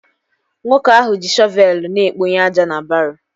Nwoke ahụ ji shọvelu na-ekponye aja na baroo